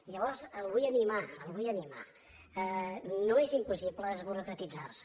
i llavors el vull animar el vull animar no és impossible desburocratitzar se